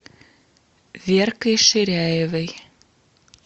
веркой ширяевой